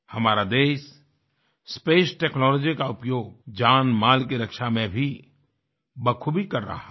हमारा देश space technology का उपयोग जानमाल की रक्षा में भी बख़ूबी कर रहा है